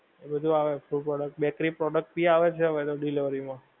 એ બધુ આવે food product, bakery product ભી આવે છે હવે તો delivery માં.